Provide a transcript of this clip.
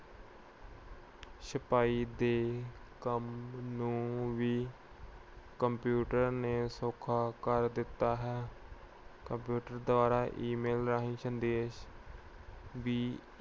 ਸਿਪਾਹੀ ਦੇ ਕੰਮ ਨੂੰ ਵੀ computer ਨੇ ਸੌਖਾ ਕਰ ਦਿੱਤਾ ਹੈ। computer ਦੁਆਰਾ e-mail ਵੀ